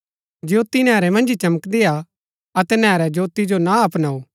ज्योती नैहरै मन्ज ही चमकदी हा अतै नैहरै ज्योती जो ना अपनाऊ